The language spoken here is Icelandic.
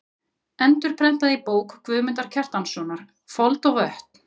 Endurprentað í bók Guðmundar Kjartanssonar: Fold og vötn.